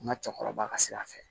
N ka cɛkɔrɔba ka sira fɛ